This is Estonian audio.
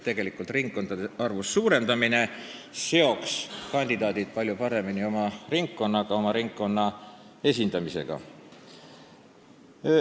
Valimisringkondade arvu suurendamine seoks kandidaadi palju paremini oma ringkonnaga, oma ringkonna esindamisega.